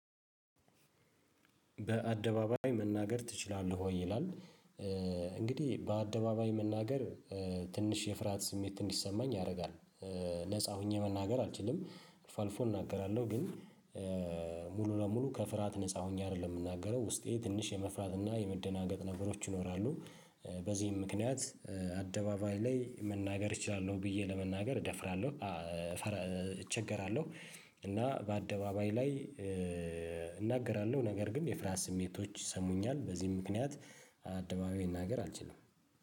በአደባባይ መናገር ትችላለህ ወይ? ይላል እንግዲህ በአደባባይ መናገር ትንሽ የፍርሃት ስሜት ትንሽ እንዲሰማኝ ያደርጋል ነፃ ሆኜ መናገር አልችልም አልፎ አልፎ እናገራለሁ ግን ሙሉ ለሙሉ ከፍርሃት ነፃ ሆኜ አይደለም የምናገረው ውስጤ ትንሽ የመፍራት እና የመደናገጥ ነበሮች ይኖራሉ በዚህም ምክንያት አደባባይ ላይ መናገር እችላለሁ ብዬ ለመናገር እደፍራለሁ እቸገራለሁ እና በአደባባይ ላይ እናገራለሁ ነገር ግን የፍርሃት ስሜቶች ይሰሙኛል በዚህ ምክንያት አደባባይ መናገር አልችልም